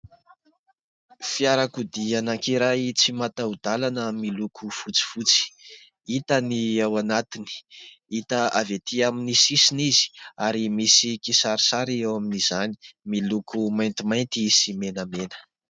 Fiarakodia anankiray tsy mataho-dalana miloko fotsifotsy, hita ny ao anatiny, hita avy etỳ amin'ny sisiny izy, ary misy kisarisary eo amin'izany, miloko maintimainty sy menamena.